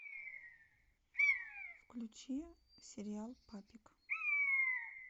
включи сериал папик